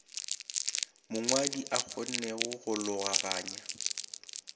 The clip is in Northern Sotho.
mongwadi a kgonnego go logaganya